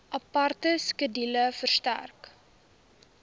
aparte skedule verstrek